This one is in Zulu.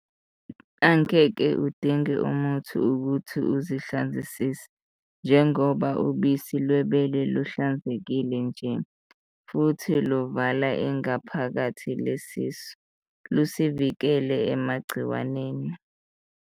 Angeke udinge muthi ukuthi usihlanzisise njengoba ubusi lwebele luhlanzekile nje, futhi luvala ingaphakathi lesisu, lusivikele emagciwaneni.